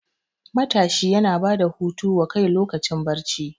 Matashi yana bada hutu wa kai lokacin barci